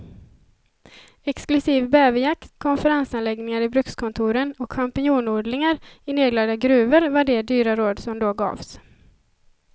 Exklusiv bäverjakt, konferensanläggningar i brukskontoren och champinjonodlingar i nedlagda gruvor var de dyra råd som då gavs.